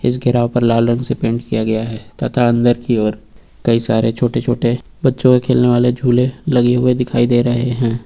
इस घेराव पर लाल रंग से पेंट किया गया है तथा अंदर की ओर कई सारे छोटे छोटे बच्चों के खेलने वाले झूले लगे हुए दिखाई दे रहे हैं।